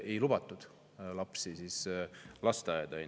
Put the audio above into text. Ei lubatud siis lapsi lasteaeda.